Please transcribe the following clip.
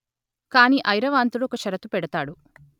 కాని ఐరావంతుడు ఒక షరతు పెడతాడు